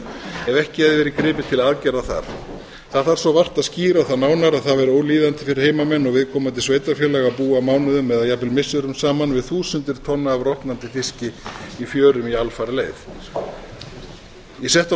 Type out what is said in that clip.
ef ekki hefði verið gripið til aðgerða þar það þarf svo vart að skýra það nánar að það væri ólíðandi fyrir heimamenn og viðkomandi sveitarfélag að búa mánuðum eða jafnvel missirum saman við þúsundir tonna af rotnandi fiski í fjörum í alfaraleið ég setti á